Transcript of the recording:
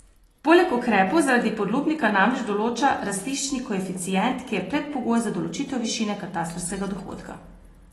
Poleg ukrepov zaradi podlubnika namreč določa rastiščni koeficient, ki je predpogoj za določitev višine katastrskega dohodka.